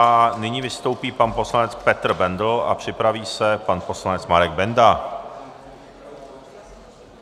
A nyní vystoupí pan poslanec Petr Bendl a připraví se pan poslanec Marek Benda.